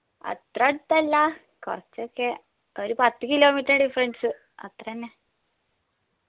അത്ര അടത്തല്ല കൊർച്ച്ചൊക്കെ ഒരു പത്ത് kilometer difference അത്രെന്നെ